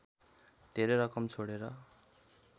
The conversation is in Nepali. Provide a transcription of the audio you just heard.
धेरै रकम छोडेर